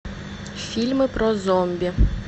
фильмы про зомби